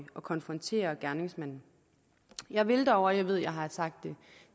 at konfrontere gerningsmanden jeg vil dog og jeg ved at jeg har sagt det